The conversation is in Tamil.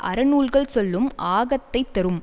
அறநூல்கள் சொல்லும் ஆகத்தைத் தரும்